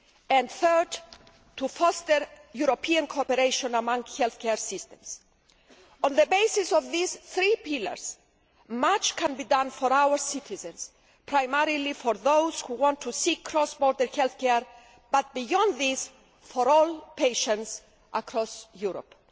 and third, to foster European cooperation among health care systems. On the basis of these three pillars, much can be done for our citizens, primarily for those who want to seek cross border health care, but, beyond this, for all patients across Europe.